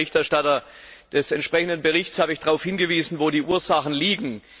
Und als Berichterstatter des entsprechenden Berichts habe ich darauf hingewiesen, wo die Ursachen liegen.